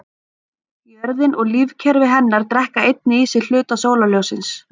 Jörðin og lífkerfi hennar drekka einnig í sig hluta sólarljóssins.